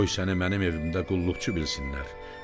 Qoy səni mənim evimdə qulluqçu bilsinlər.